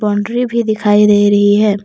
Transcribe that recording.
Boundary भी दिखाई दे रही है।